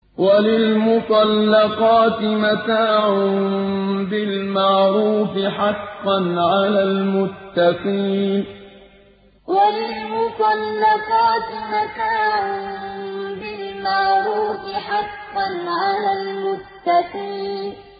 وَلِلْمُطَلَّقَاتِ مَتَاعٌ بِالْمَعْرُوفِ ۖ حَقًّا عَلَى الْمُتَّقِينَ وَلِلْمُطَلَّقَاتِ مَتَاعٌ بِالْمَعْرُوفِ ۖ حَقًّا عَلَى الْمُتَّقِينَ